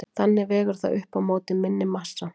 Þannig vegur það upp á móti minni massa.